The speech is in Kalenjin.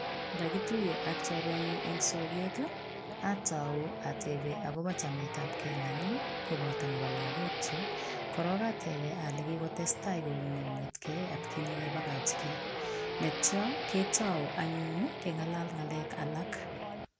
Kakituiyee ak chorwenyun en soket, atau ateben akobo chametab gei nenyin koboto neboo lagookchik, korong ateben aleikikotestai kounen kongeten atkinye kin kebakaigee, yeityoo ketou anyun kengal ngalek alak